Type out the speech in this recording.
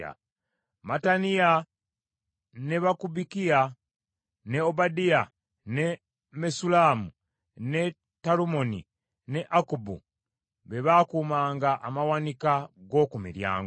Mattaniya, ne Bakubukiya, ne Obadiya, ne Mesullamu, ne Talumoni, ne Akkubu be baakuumanga amawanika g’oku miryango.